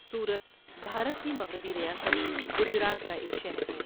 سورت بھارت کی مغربی ریاست گجرات کا ایک شہر ہے۔